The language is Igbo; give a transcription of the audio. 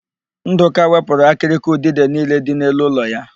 Ndụka wepụrụ akịrịka udide niile dị n'elu ụlọ ya.